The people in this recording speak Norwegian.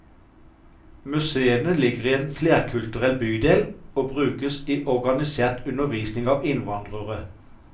Museene ligger i en flerkulturell bydel og brukes i organisert undervisning av innvandrere.